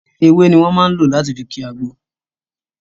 Ewé ni wọn máa ń lò láti fi kii àgbò